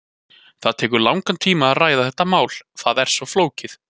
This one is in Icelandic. Það tekur langan tíma að ræða þetta mál, það er svo flókið.